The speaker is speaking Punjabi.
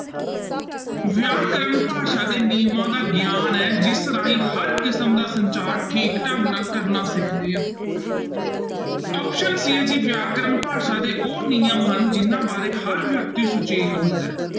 ਵਿਆਕਰਨ ਭਾਸ਼ਾ ਦੇ ਨਿਯਮਾਂ ਦਾ ਗਿਆਨ ਹੈ ਜਿਸ ਰਾਹੀਂ ਹਰ ਕਿਸਮ ਦਾ ਸੰਚਾਰ ਠੀਕ ਢੰਗ ਨਾਲ ਕਰਨਾ ਸਿਖਦੇ ਆ option c ਹੈ ਜੀ ਵਿਆਕਰਨ ਭਾਸ਼ਾ ਦੇ ਉਹ ਨਿਯਮ ਹਨ, ਜਿਹਨਾਂ ਬਾਰੇ ਹਰ ਵਿਅਕਤੀ ਸੁਚੇਤ ਹੁੰਦਾ ਹੈ।